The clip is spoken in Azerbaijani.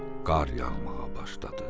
Qar yağmağa başladı.